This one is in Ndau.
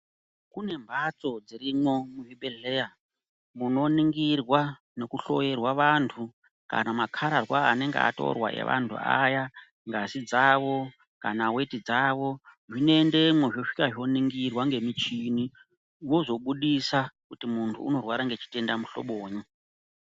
Kune mhatso dzirimwo muzvibhedhleya ,munoningirwa nekuhloerwa vantu, kana makhararwa anenga atorwa evantu aya, ngazi dzavo, kana weti dzavo. Zvinoendemwo zvosvika zvoningirwa ngemichini, vozobudisa kuti muntu unorwara ngechitenda muhlobonyi.